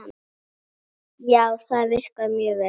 Já, það virkar mjög vel.